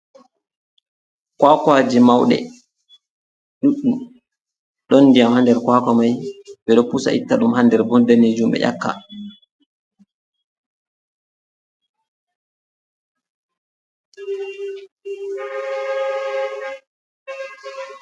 Kwakwaje mauɗe ɗuɗɗum, ɗon ndiyam ha nder kwakwa mai, bedo pusa itta ɗum ha nder ɗon danejum ɓe ƴakka.